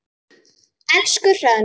Elsku Hrönn.